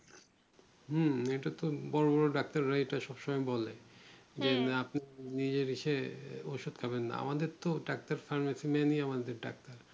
হুএটাতো বড়ো বড়ো ডাক্তাররাই এটা সবসময় বলে যে ওষুধ খাবেন না আমাদের তো ডাক্তার pharmacy man রাই আমাদের ডাক্তার